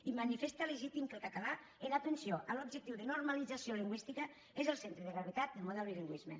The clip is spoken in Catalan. i manifesta legítim que el català en atenció a l’objectiu de normalització lingüística sigui el centre de gravetat del model de bilingüisme